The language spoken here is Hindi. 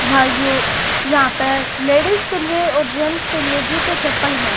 भाइयों यहां पे लेडिस के लिए और जेट्स के लिए जूते चप्पल हैं।